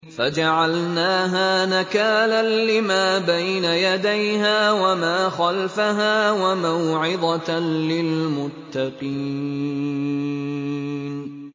فَجَعَلْنَاهَا نَكَالًا لِّمَا بَيْنَ يَدَيْهَا وَمَا خَلْفَهَا وَمَوْعِظَةً لِّلْمُتَّقِينَ